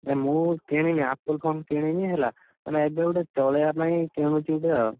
ନା ମୁଁ, କିଣିବି, Apple phone କିଣିବି ହେଲା। ମାନେ ଏବେ ଗୋଟେ, ଚଳେଇଆ ପାଇଁ କିଣୁଛି ଗୋଟେ ଆଉ।